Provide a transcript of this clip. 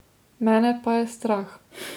Mene pa je strah.